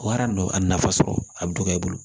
Wara nɔ a nafa sɔrɔ a bɛ dɔgɔya i bolo